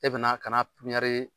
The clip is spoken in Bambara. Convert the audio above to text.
E be na ka na